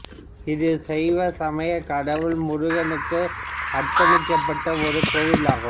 இது சைவ சமயக் கடவுள் முருகனுக்கு அர்ப்பணிக்கப்பட்ட ஒரு கோவிலாகும்